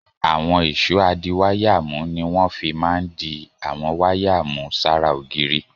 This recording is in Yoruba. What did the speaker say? Àwọn ìṣó adiwáyàmú ni wọ́n fi máa ń di àwọn wáyà mú sára ògiri.